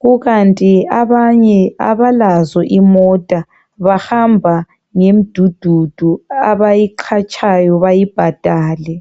Kukanti abanye abalazo imota bahamba ngemdududu abayiqhatdhayo bayibhadale.